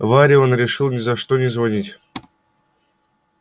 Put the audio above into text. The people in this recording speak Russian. варе он решил ни за что не звонить